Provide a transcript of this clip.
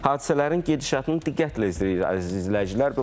Hadisələrin gedişatını diqqətlə izləyirsiniz, əziz izləyicilər.